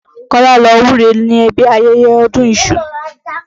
Kọ́lá ló wúre níbi ayẹyẹ ọdún iṣu.